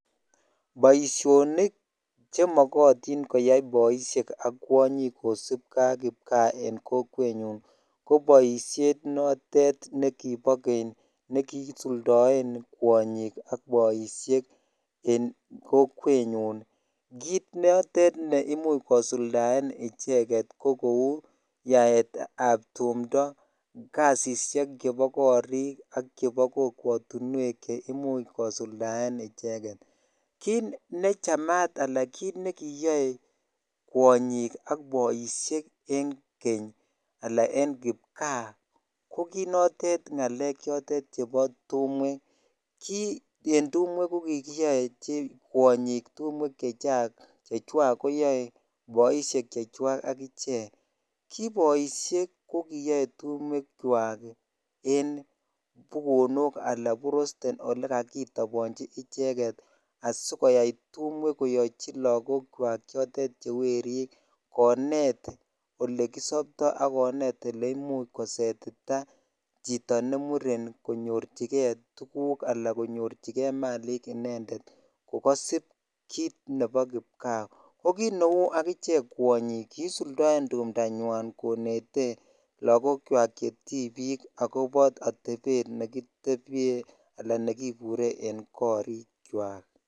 Boisionik chemokotin koyai boisiek ak kwonyik kosipkee ak kipgaa en kokwenyun ko boisiet notet nekibo keny nekii suldoen kwonyik ak boisiek en kokwenyun kit notet neimuch kosuldaen icheket ko kou yaetab tumdoo, kasisiek chebo korik ak chebo kokwotinwek cheimuch kosuldaen icheket kit nechamat alan kit nekiyoe kwonyik ak boisiek en keny alan en kipgaa ko kinotet ng'alek chebo tumwek kii en tumwek kokiyoe kwonyik chechwak, koyoe boisiek chechwak agichek, ki boisiek ko kiyoe tumwekwak en bukonok alan borosten yekokitobonji icheke asikoyai tumwek koyochi lagokwak chotet che werik konet olekisoptoo akonet oleimuch kosetitaa chito ne muren ii konyorchikee tuguk anan konyorchike malik inendet kokosip kit nebo kipgaa ko kit neu agichek kwonyik kiisuldoen tumbanywan konete lagokchwak che tibik akobo atebetab nekebye anan nekibure en korikwak.